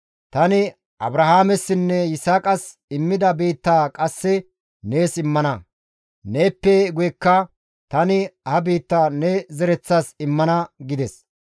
Tani Abrahaamessinne Yisaaqas immida biittaa qasse nees immana; neeppe guyekka tani ha biittaa ne zereththas immana» gides.